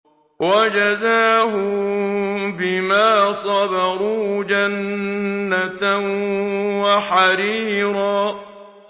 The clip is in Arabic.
وَجَزَاهُم بِمَا صَبَرُوا جَنَّةً وَحَرِيرًا